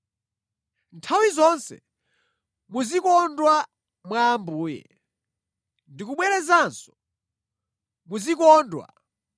Nthawi zonse muzikondwa mwa Ambuye. Ndikubwerezanso; muzikondwa!